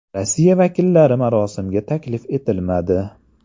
Rossiya vakillari marosimga taklif etilmadi.